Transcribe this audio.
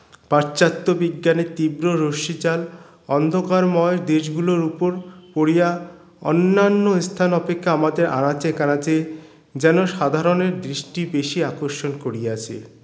প্রাচ্চাত্য বিজ্ঞানের তীব্র রশ্মিজাল অন্ধকারময় দেশ গুলোর উপর পরিয়া অন্যান্য স্থান অপেক্ষা আমাদের আনাচে কানাচে যেন সাধারনের দৃষ্টি বেশি আকর্ষণ করিয়াছে